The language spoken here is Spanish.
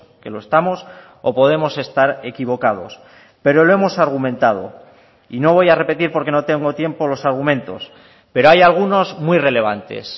que lo estamos o podemos estar equivocados pero lo hemos argumentado y no voy a repetir porque no tengo tiempo los argumentos pero hay algunos muy relevantes